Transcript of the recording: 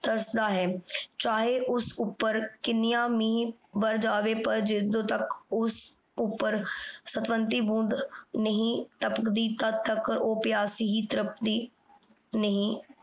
ਤਰਸਦਾ ਹੈ ਚਾਹੀ ਉਸ ਓਪੇਰ ਕਿਨੀਆਂ ਮੀਹ ਬਰਸ ਜਾਵੇ ਪਰ ਜਿਦੋਂ ਤਕ ਓਸ ਉਪਰ ਬੋੰਡ ਨਹੀ ਟਪਕਦੀ ਤਦ ਤਕ ਊ ਪਿਯਾਸੀ ਹੀ ਤ੍ਰਪਤੀ ਨਹੀ